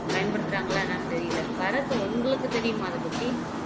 பயன்படுத்துறாங்களா என்னன்னு தெரியல பாரத் உங்களுக்கு தெரியுமா அதை பத்தி